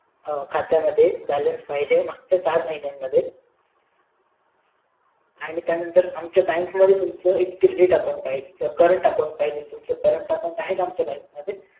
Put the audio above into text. खात्यामध्ये balance पाहिजे मागच्या चार महिन्यामध्ये आणि त्यानंतर आमच्या bank मध्ये तुमचं current account पाहिजे तुमचं current account आहे का आमच्या bank मध्ये